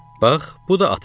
Bax, bu da atan.